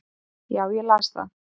Já, ég las það